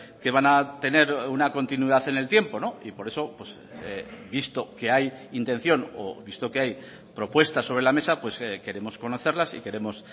que van a tener una continuidad en el tiempo y por eso visto que hay intención o visto que hay propuesta sobre la mesa queremos conocerlas y queremos